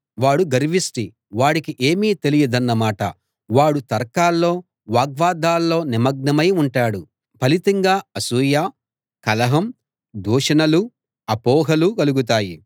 వాడు గర్విష్టి వాడికి ఏమీ తెలియదన్నమాట వాడు తర్కాల్లో వాగ్వాదాల్లో నిమగ్నమై ఉంటాడు ఫలితంగా అసూయ కలహం దూషణలు అపోహలు కలుగుతాయి